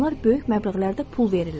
Onlar böyük məbləğlərdə pul verirlər.